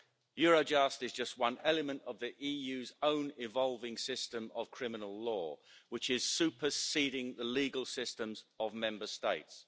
Eurojust is just one element of the EU's own evolving system of criminal law, which is superseding the legal systems of Member States.